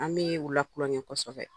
An bɛ u la kulon kɛ kɔsɛbɛ.